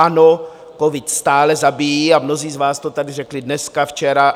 Ano, covid stále zabíjí, a mnozí z vás to tady řekli dneska, včera.